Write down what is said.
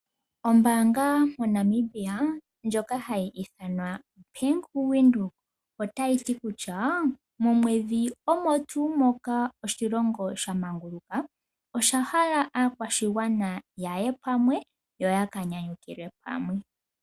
Ombaanga moNamibia ndjoka hayi ithanwa Bank Windhoek, otayi ti kutya momwedhi omo tuu moka oshilongo sha manguluka osha hala aakwashigwana ya ye pamwe yo ya ka nyanyukilwe pamwe.